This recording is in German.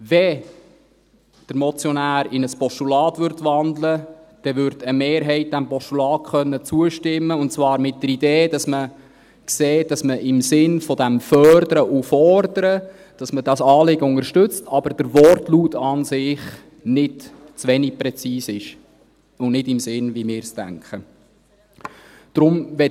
Würde der Motionär in ein Postulat wandeln, würde eine Mehrheit diesem Postulat zustimmen können, und zwar mit der Idee, dass sichtbar wird, dass man dieses Anliegen im Sinne von «Fördern und Fordern» unterstützt, aber dass der Wortlaut zu wenig präzise und nicht in unserem Sinn ist.